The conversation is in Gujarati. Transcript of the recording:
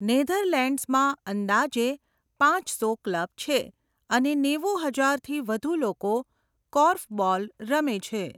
નેધરલેન્ડ્સમાં અંદાજે પાંચસો ક્લબ છે અને નેવું હજારથી વધુ લોકો કોર્ફબોલ રમે છે.